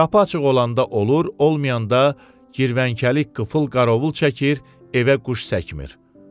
Qapı açıq olanda olur, olmayanda Girvənkəlik qıfıl qarovul çəkir, evə quş çəkmir.